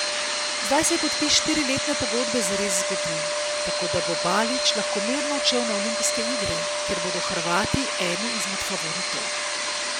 Zdaj se je podpis štiriletne pogodbe zares zgodil, tako da bo Balić lahko mirno odšel na olimpijske igre, kjer bodo Hrvati eni izmed favoritov.